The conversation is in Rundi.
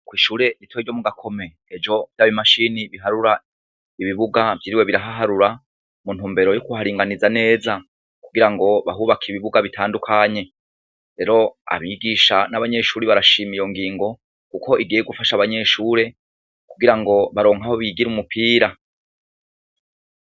Kw'ishure ritoyi ryo mu Gakome, ejo vya bimashini biharura ibibuga vyiriwe birahaharura mu ntubmero yo kuharinganiza neza kugira bahubake ibibuga bitandukanye. Rero abigisha n'abanyeshure barashima iyo ngingo kuko igiye gufasha abanyeshure kugira ngo baronke aho bigira umupira.